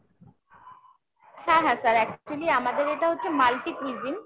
হ্যাঁ হ্যাঁ sir actually আমাদের এটা হচ্ছে multi cuisine।